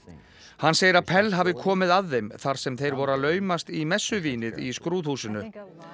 hann segir að Pell hafi komið að þeim þar sem þeir voru að laumast í í skrúðhúsinu